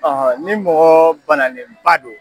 ni mɔgɔ banalen ba do